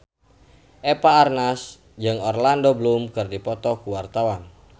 Eva Arnaz jeung Orlando Bloom keur dipoto ku wartawan